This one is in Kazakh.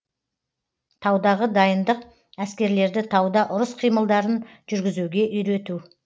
таудағы дайындық әскерлерді тауда ұрыс қимылдарын жүргізуге үйрету